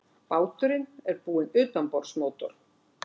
Báturinn er búinn utanborðsmótor